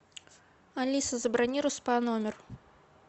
алиса забронируй спа номер